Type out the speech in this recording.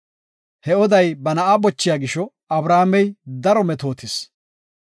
He oday ba na7a bochiya gisho, Abrahaamey daro metootis.